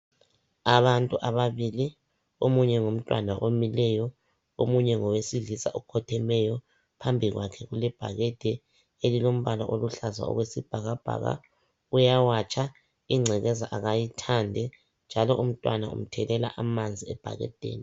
Abantu ababili omunye ngumntwana omileyo, omunye ngowesilisa okhothemeyo, phambi kwakhe kulebhakede elilombala oluhlaza okwesibhakabhaka uyawatsha njalo ingcekeza kayithandi njalo umntwana umthelela amanzi ebhakedeni.